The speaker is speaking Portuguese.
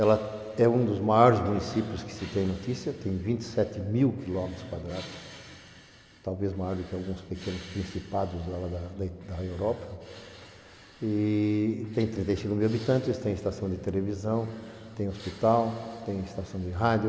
Ela é um dos maiores municípios que se tem notícia, tem vinte e sete mil quilômetros quadrados, talvez maior do que alguns pequenos principados da Europa, e tem trinta e cinco mil habitantes, tem estação de televisão, tem hospital, tem estação de rádio,